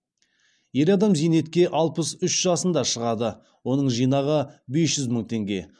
ер адам зейнетке алпыс үш жасында шығады оның жинағы бес жүз мың теңге